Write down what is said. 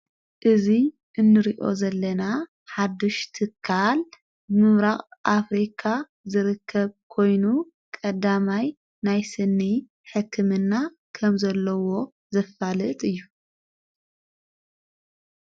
እዙይ እንርዮ ዘለና ሓድሽትካል ምምራቕ ኣፍሪካ ዝርከብ ኮይኑ ቐዳማይ ናይስኒ ሕክምና ከም ዘለዎ ዘፋልጥ እዩ::